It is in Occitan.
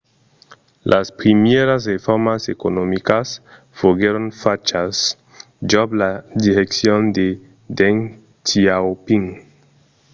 las primièras reformas economicas foguèron fachas jos la direccion de deng xiaoping